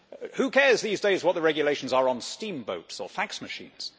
Who cares these days what the regulations are on steamboats or fax machines?